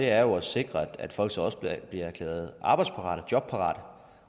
er jo at sikre at folk så også bliver erklæret arbejdsparate jobparate